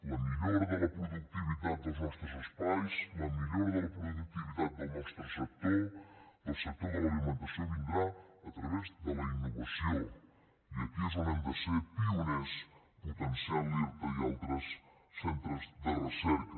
la millora de la productivitat dels nostres espais la millora de la productivitat del nostre sector del sector de l’alimentació vindrà a través de la innovació i aquí és on hem de ser pioners potenciant l’irta i altres centres de recerca